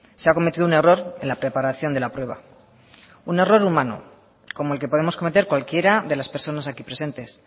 se ha cometido un error en la preparación de la prueba un error humano como el que podemos cometer cualquiera de las personas aquí presentes